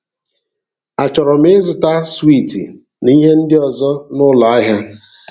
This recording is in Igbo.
Achọrọ m ịzụta swiiti na ihe ndị ọzọ n’ụlọ ahịa.